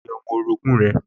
Pe ọmọ orogún rẹ̀